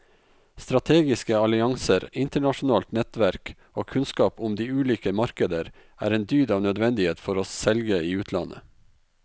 Strategiske allianser, internasjonalt nettverk og kunnskap om de ulike markeder er en dyd av nødvendighet for å selge i utlandet.